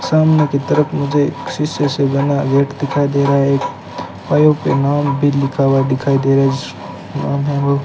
सामने की तरफ मुझे शीशे से बना गेट दिखाई दे रहा है एक पायो पे नाम भी लिखा हुआ दिखाई दे रा है जिस नाम हव --